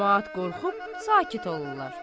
Camaat qorxub sakit olurlar.